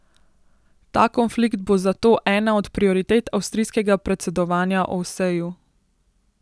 Ta konflikt bo zato ena od prioritet avstrijskega predsedovanja Ovseju.